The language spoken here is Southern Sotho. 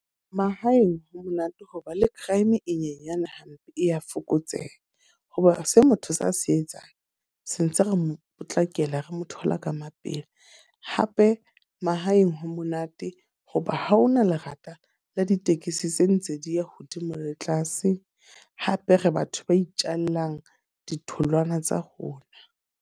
Mahaeng ho monate hoba le crime e nyenyane hape e ya fokotseha. Ho ba se motho a se etsang, se ntse re mo potlakela re mo thola ka mapele. Hape mahaeng ho monate hoba ha hona lerata la ditekesi tse ntse di ya hodimo le tlase. Hape re batho ba itjallang ditholwana tsa rona.